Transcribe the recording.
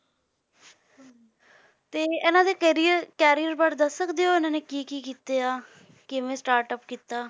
ਤੇ ਇਹਨਾਂ ਦੇ ਕਰੀਅ~ career ਬਾਰੇ ਦੱਸ ਸਕਦੇ ਹੋ, ਇਹਨਾਂ ਨੇ ਕੀ ਕੀ ਕੀਤੇ ਆ, ਕਿਵੇਂ startup ਕੀਤਾ?